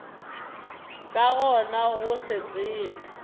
ka gona go se tsebe